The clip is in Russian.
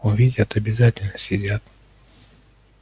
увидят обязательно съедят